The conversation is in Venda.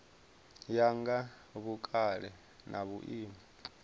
ya nga vhukale na vhuimo